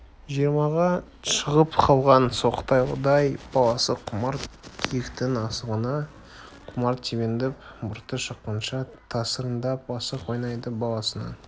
жиырмаға шығып қалған соқталдай баласы құмар киіктің асығына құмар тебіндеп мұрты шыққанша тасыраңдап асық ойнайды баласының